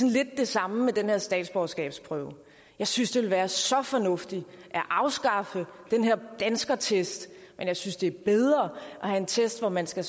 lidt det samme med den her statsborgerskabsprøve jeg synes det ville være så fornuftigt at afskaffe den her danskertest men jeg synes det er bedre at have en test hvor man skal